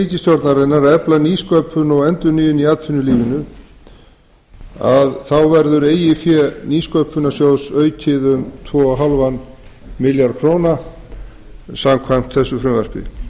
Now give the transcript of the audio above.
ríkisstjórnarinnar að efla nýsköpun og endurnýjun í atvinnulífinu verður eigið fé nýsköpunarsjóðs aukið um tvö og hálfan milljarð króna samkvæmt þessu frumvarpi